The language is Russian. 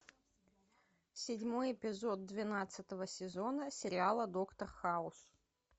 седьмой эпизод двенадцатого сезона сериала доктор хаус